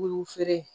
U feere